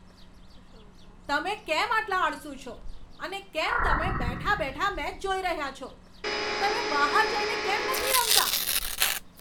તમે કેમ આટલા આળસુ છો અને કેમ તમે બેઠા બેઠા મેચ જોઈ રહ્યા છો? તમે બહાર જઈને કેમ નથી રમતા?